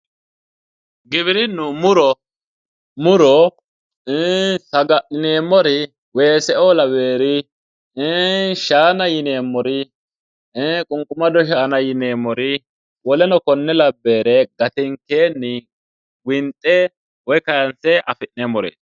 Giwirinu muro ,muro ii'i saga'lineemmori weeseo lawinori ,ii'i shaana yinneemmori ,ii'i qunqumado shaana yinneemmori woleno kone labbinore gatenke winxe woyi kayinse affi'neemmore.